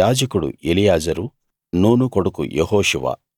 యాజకుడు Eleazar Nun కొడుకు యెహోషువ